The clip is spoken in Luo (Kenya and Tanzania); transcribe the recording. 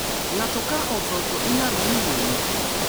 Ngato ka otho to ilando ni liel nitie.